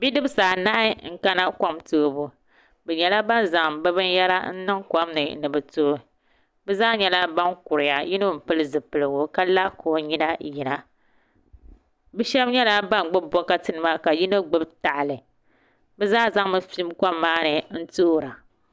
Bidibsi anahi n kana kom toobu bi nyɛla ban zaŋ bi binyɛra n niŋ kom ni ni bi tooi bi zaa nyɛla ban kuriya yino n pili zipiligu ka la ka o nyina yina bi shab nyɛla ban gbubi bokati nima ka yino gbubi tahali bi zaa zaŋmi fim kom maa ni n toora